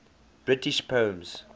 british poems